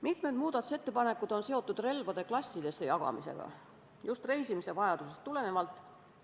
Mitmed muudatusettepanekud on seotud relvade klassidesse jagamisega, just reisimise vajadusest tulenevalt.